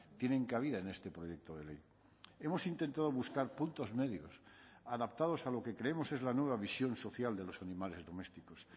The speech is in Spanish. tienen cabida en este proyecto de ley hemos intentado buscar puntos medios adaptados a lo que creemos es la nueva visión social de los animales domésticos